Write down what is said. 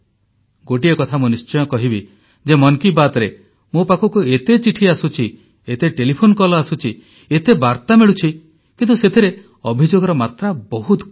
ଗୋଟିଏ କଥା ମୁଁ ନିଶ୍ଚୟ କହିବି ଯେ ମନ୍ କି ବାତ୍ରେ ମୋ ପାଖକୁ ଏତେ ଚିଠି ଆସୁଛି ଏତେ ଟେଲିଫୋନ କଲ୍ ଆସୁଛି ଏତେ ବାର୍ତା ମିଳୁଛି କିନ୍ତୁ ସେଥିରେ ଅଭିଯୋଗର ମାତ୍ରା ବହୁତ କମ୍